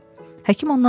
Həkim ondan soruşdu: